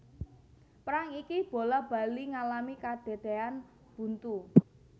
Perang iki bola bali ngalami kadadèan buntu